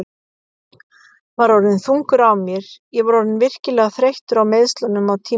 Var orðinn þungur á mér Ég var orðinn virkilega þreyttur á meiðslunum á tímabili.